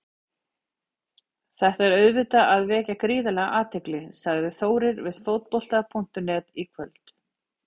Þetta er auðvitað að vekja gríðarlega athygli, sagði Þórir við Fótbolta.net í kvöld.